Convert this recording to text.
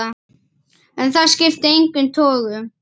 En það skipti engum togum.